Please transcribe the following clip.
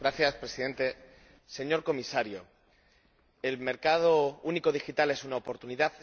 Señor Presidente, señor Comisario, ¿el mercado único digital es una oportunidad?